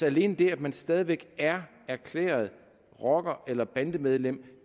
alene det at man stadig væk er erklæret rocker eller bandemedlem